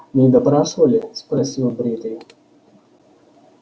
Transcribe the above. не допрашивали спросил бритый